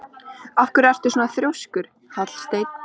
Af hverju ertu svona þrjóskur, Hallsteinn?